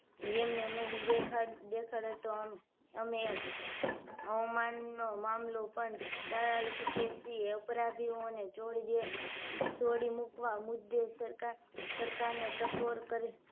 એમને નહી દેખા દેખાડે તો અમે અમનાવ નો મામલો પણ જણાવી શકીએ છીએ અપરાધીઓને છોડી દેવા છોડી મૂકવા મુદ્દે સરકાર સરકારને ટકોર કરી